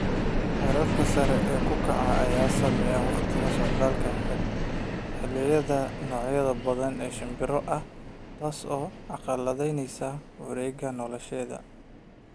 Heerkulka sare u kaca ayaa saameeya waqtiga socdaalka xilliyeedka ee noocyo badan oo shimbiro ah, taasoo carqaladaynaysa wareegyada noloshooda.